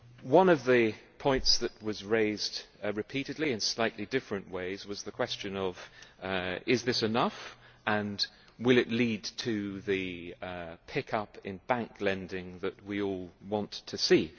One of the points that was raised repeatedly in slightly different ways was the question of whether this is enough and whether it will lead to the pickup in bank lending that we all want to see.